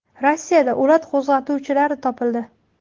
Rossiyada o‘lat qo‘zg‘atuvchilari topildi.